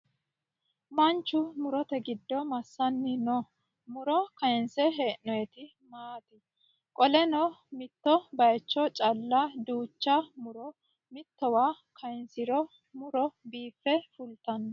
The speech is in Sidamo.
Manchu murote giddo massanni noo? Muro kayiinse hee'noyiti maati? Qoleno mitto bayiicho calla duucha muro mittowa kayiinsiro muro biiffe fultanno?